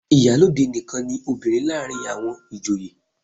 Ìyálóde nìkan ni obìnrin láàárín àwọn ìjòyè.